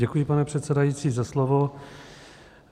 Děkuji, pane předsedající, za slovo.